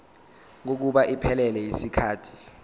kokuba iphelele yisikhathi